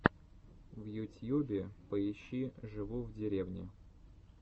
в ютьюбе поищи живу в деревне